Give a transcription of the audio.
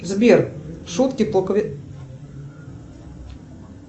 сбер шутки